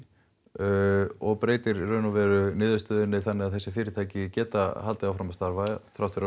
og breytir niðurstöðunni þannig að þessi fyrirtæki geta haldið áfram að starfa þrátt fyrir